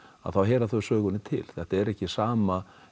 þá heyra þau sögunni til þetta er ekki sama